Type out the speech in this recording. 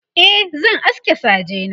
e zan aske saje na